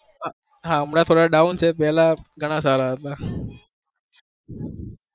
હા એમના થોડા doun છે પેલા ઘણા સારા હતા